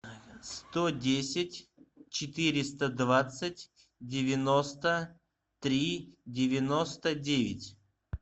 сто десять четыреста двадцать девяносто три девяносто девять